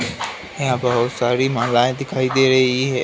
यहाँ बहुत सारी मालाएं दिखाई दे रही हैं।